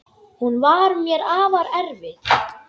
Hún var mér afar erfið.